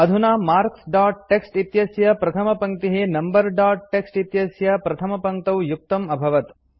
अधुना marks dot TXT इत्यस्य प्रथमपङ्क्तिः नम्बर दोत् टीएक्सटी इत्यस्य प्रथमपङ्क्तौ युक्तम् अभवत्